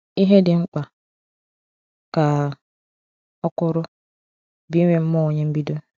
"Ihe dị mkpa," ka ọ kwuru, "bụ inwe mmụọ onye mbido."